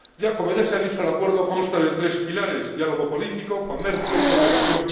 Como ya se ha dicho, el Acuerdo consta de tres pilares diálogo político, comercio y cooperación.